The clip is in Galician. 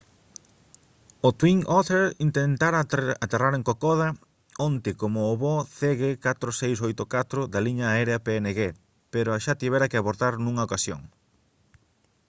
o twin otter intentara aterrar en kokoda onte como o voo cg4684 da liña aérea png pero xa tivera que abortar nunha ocasión